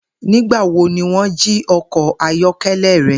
Nigbawo ni wọn ji ọkọ ayọkẹlẹ rẹ?